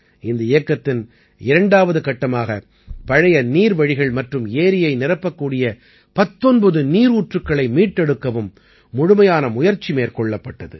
இந்த இயக்கத்தின் இரண்டாம் கட்டமாக பழைய நீர்வழிகள் மற்றும் ஏரியை நிரப்பக்கூடிய 19 நீரூற்றுக்களை மீட்டெடுக்கவும் முழுமையான முயற்சி மேற்கொள்ளப்பட்டது